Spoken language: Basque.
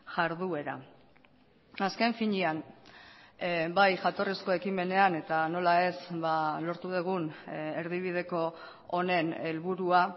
jarduera azken finean bai jatorrizko ekimenean eta nola ez lortu dugun erdibideko honen helburua